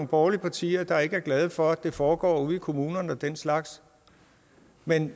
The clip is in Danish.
borgerlige partier der ikke er glade for at det foregår ude i kommunerne og den slags men